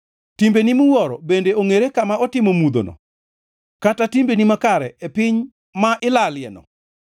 Timbeni miwuoro bende ongʼere kama otimo mudhono, kata timbeni makare e piny ma ilalieno?